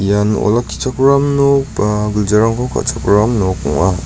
ian olakkichakram nok ba giljarangko ka·chakram nok ong·a.